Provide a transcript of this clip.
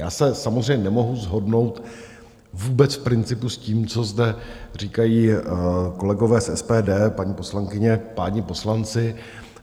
Já se samozřejmě nemohu shodnout vůbec v principu s tím, co zde říkají kolegové z SPD, paní poslankyně, páni poslanci.